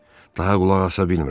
Daha qulaq asa bilmirəm.